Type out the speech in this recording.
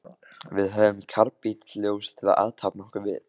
Við höfðum karbítljós til að athafna okkur við.